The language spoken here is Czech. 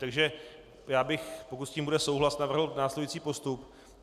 Takže já bych, pokud s tím bude souhlas, navrhl následující postup.